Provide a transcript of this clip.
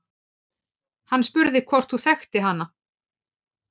Hann spurði hvort hún þekkti hana.